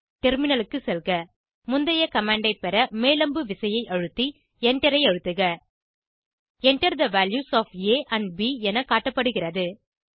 டெர்மினலுக்கு செல்க முந்தைய கமாண்ட் ஐ பெற மேல் அம்பு விசையை அழுத்தி எண்டரை அழுத்துக Enter the values of a and b என காட்டப்படுகிறது